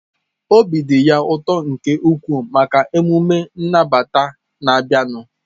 Obi dị ya ụtọ nke ukwuu maka emume nnabata na-abịanụ.